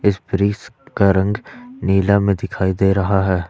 इस ब्रिज का रंग नीला में दिखाई दे रहा है।